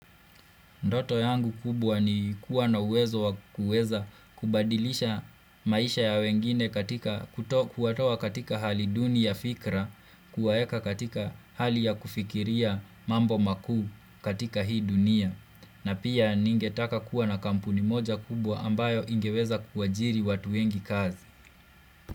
Ndoto yangu kubwa ni kuwa na uwezo wa kuweza kubadilisha maisha ya wengine katika kuwatoa katika hali duni ya fikra, kuwaeka katika hali ya kufikiria mambo makuu katika hii dunia. Na pia ningetaka kuwa na kampuni moja kubwa ambayo ingeweza kuajiri watu wengi kazi.